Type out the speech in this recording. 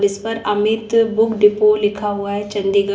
जिस पर Amit book depot लिखा हुआ है चंडीगढ़--